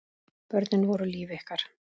Börnin voru líf ykkar.